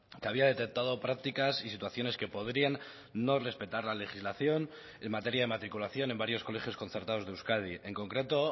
que había detectado prácticas y situaciones que podrían no respetar la legislación en materia de matriculación en varios colegios concertados de euskadi en concreto